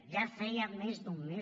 ja feia més d’un mes